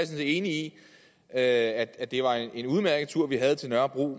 set enig i at at det var en udmærket tur vi havde til nørrebro og